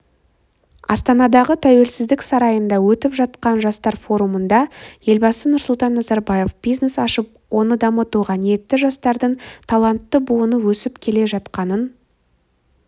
астанадағы тәуелсіздік сарайында өтіп жатқан жастар форумында елбасы нұрсұлтан назарбаев бизнес ашып оны дамытуға ниетті жастардың талантты буыны өсіп келе жатқанын